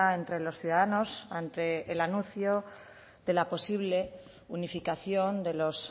entre los ciudadanos ante el anuncio de la posible unificación de los